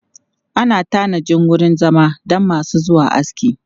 Ana tanajin wurin zama don masu zuwa aski.